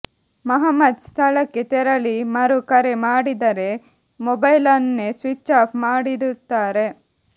ಮಹಮ್ಮದ್ ಸ್ಥಳಕ್ಕೆ ತೆರಳಿ ಮರು ಕರೆ ಮಾಡಿದರೆ ಮೊಬೈಲನ್ನೇ ಸ್ವಿಚ್ ಆಫ್ ಮಾಡಿಡುತ್ತಾರೆ